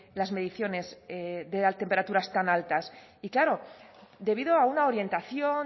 las mediciones de temperaturas tan altas y claro debido a una orientación